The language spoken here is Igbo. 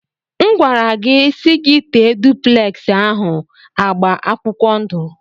M gwara gị si gi tee dupleksi ahụ agba akwụkwọ ndụ.